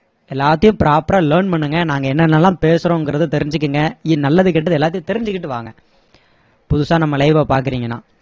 எல்லாத்தையும் proper ஆ learn பண்ணுங்க நாங்க என்னென்னெல்லாம் பேசறோங்கிறதை தெரிஞ்சிக்குங்க நல்லது கெட்டது எல்லாத்தையும் தெரிஞ்சிகிட்டு வாங்க புதுசா நம்ம live வ பாக்குறீங்கன்னா